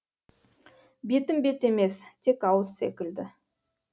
бетім бет емес тек ауыз секілді